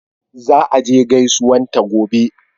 Za a je gaisuwan ta gobe